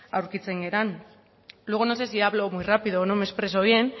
aurkitzen garen luego no sé si hablo muy rápido o no me expreso bien